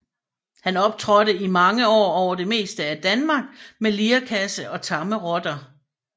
Han optrådte i mange år over det meste af Danmark med lirekasse og tamme rotter